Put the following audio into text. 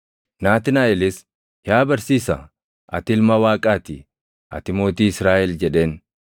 Naatnaaʼelis, “Yaa Barsiisaa, ati Ilma Waaqaa ti! Ati Mootii Israaʼel” jedheen.